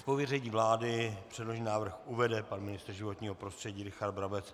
Z pověření vlády předložený návrh uvede pan ministr životního prostředí Richard Brabec.